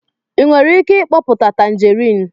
ị nwere ike mkpoputa tanjerịn?